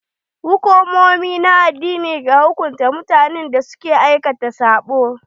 Hukumomi na addini ke hukunta mutanen da ke aikata sabo.